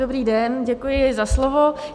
Dobrý den, děkuji za slovo.